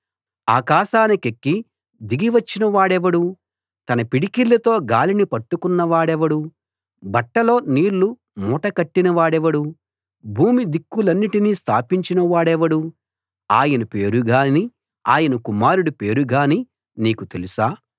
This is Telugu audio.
ఆకాశానికెక్కి దిగివచ్చిన వాడెవడు తన పిడికిళ్లతో గాలిని పట్టుకున్నవాడెవడు బట్టలో నీళ్లు మూటకట్టినవాడెవడు భూమి దిక్కులన్నిటిని స్థాపించిన వాడెవడు ఆయన పేరుగానీ ఆయన కుమారుడి పేరుగానీ నీకు తెలుసా